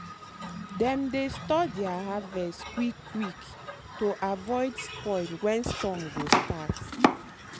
dem dey store their harvest quick quick to avoid spoil when storm go start.